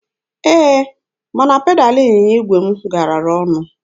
Ee, mana pedalụ ịnyịnya igwe m gaara ọnụ.